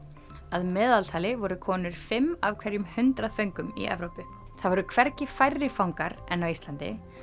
að meðaltali voru konur fimm af hverjum hundrað föngum í Evrópu það voru hvergi færri fangar en á Íslandi